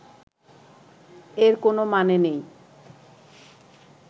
এর কোনও মানে নেই